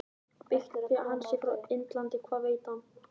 Byggt á því að hann sé frá Indlandi- Hvað veit hann?